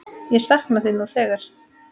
Ég sakna þín nú þegar.